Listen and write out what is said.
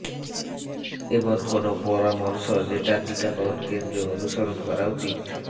এমন কোনও পরামর্শ যেটা টিকাকরণ কেন্দ্রে অনুসরণ করা উচিত